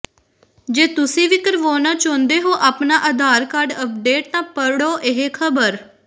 ਜੇ ਤੁਸੀਂ ਵੀ ਕਰਵਾਉਣਾ ਚਾਹੁੰਦੇ ਹੋ ਆਪਣਾ ਆਧਾਰ ਕਾਰਡ ਅਪਡੇਟ ਤਾਂ ਪੜ੍ਹੋ ਇਹ ਖਬਰ